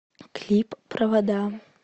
клип провода